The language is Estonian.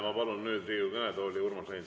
Ma palun nüüd Riigikogu kõnetooli Urmas Reinsalu.